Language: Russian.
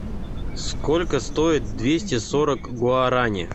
сколько стоит двести сорок гуарани